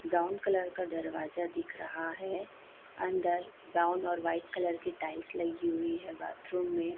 Brown colour का दरवाजा दिख रहा है अंदर ब्राउन और वाइट कलर की टाइल्स लगी हुई है बाथरूम में।